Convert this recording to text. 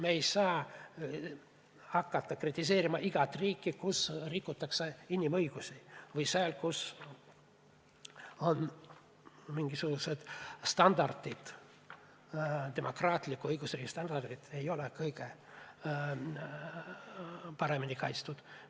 Me ei saa hakata kritiseerima igat riiki, kus rikutakse inimõigusi või kus kehtivad mingisugused teised standardid, demokraatliku õigusriigi standardid ei ole kõige paremini kaitstud.